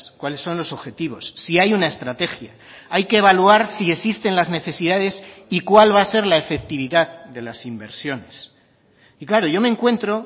cuales son los objetivos si hay una estrategia hay que evaluar si existen las necesidades y cuál va a ser la efectividad de las inversiones y claro yo me encuentro